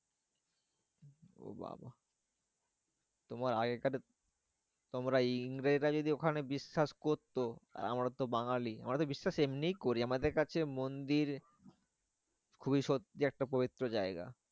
ও বাবা তোমার আগেকার তোমরা ইংরেজরা যদি ওখানে বিশ্বাস করতো, আর আমরা তো বাঙালি। আমরা তো বিশ্বাস এমনই করি। আমাদের কাছে মন্দির খুবই সত্যি একটা পবিত্র জায়গা।